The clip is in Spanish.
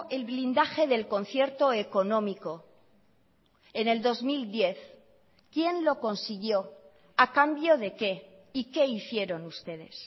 el blindaje del concierto económico en el dos mil diez quién lo consiguió a cambio de qué y qué hicieron ustedes